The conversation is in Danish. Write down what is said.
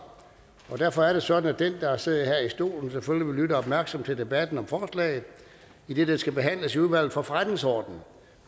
derfor er det sådan at den der sidder her i stolen selvfølgelig vil lytte opmærksomt til debatten om forslaget idet det skal behandles i udvalget for forretningsordenen